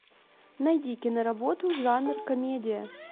найди киноработу жанр комедия